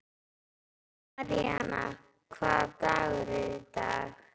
Maríanna, hvaða dagur er í dag?